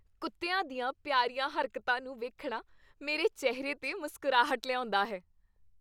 ਕੁੱਤਿਆਂ ਦੀਆਂ ਪਿਆਰੀਆਂ ਹਰਕਤਾਂ ਨੂੰ ਵੇਖਣਾ ਮੇਰੇ ਚਿਹਰੇ 'ਤੇ ਮੁਸਕਰਾਹਟ ਲਿਆਉਂਦਾ ਹੈ।